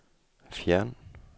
fjern